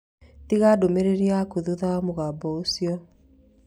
Tiga ndũmĩrĩri yaku thutha wa mũgambo ũcio.